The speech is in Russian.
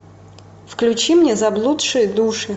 включи мне заблудшие души